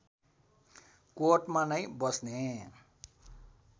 कोटमा नै बस्ने